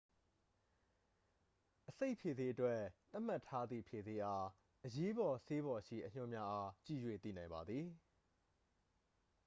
အဆိပ်ဖြေဆေးအတွက် သတ်မှတ်ထားသည့် ဖြေဆေးအား အရေးပေါ်ဆေးပေါ်ရှိ အညွှန်းများအား ကြည့်၍သိနိုင်ပါသည်